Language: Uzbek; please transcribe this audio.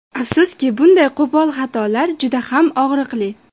Afsuski, bunday qo‘pol xatolar juda ham og‘riqli.